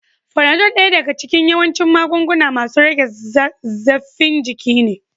Fanado daya daga cikin yawancin magunguna masun rage zaffin jiki ne.